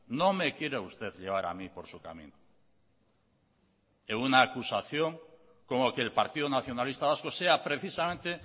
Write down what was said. no me quiera usted llevar a mí por su camino en una acusación como que el partido nacionalista vasco sea precisamente